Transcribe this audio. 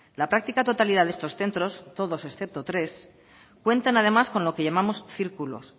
la práctica totalidad de estos centros todos excepto tres cuentan además con lo que llamamos círculos